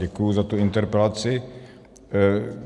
Děkuji za tu interpelaci.